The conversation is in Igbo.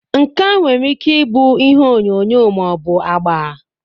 nka nwere ike ịbụ ihe onyonyo ma ọ bụ agba.